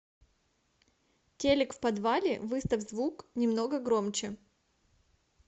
телик в подвале выставь звук немного громче